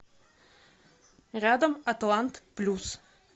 рядом атлант плюс